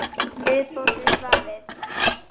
Viðbót við svarið